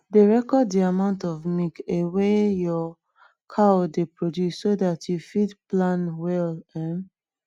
dey record de amount of milk a wey your cow dey produce so dat you go fit plan well um